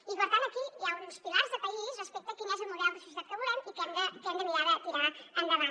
i per tant aquí hi ha uns pilars de país respecte a quin és el model de societat que volem i que hem de mirar de tirar endavant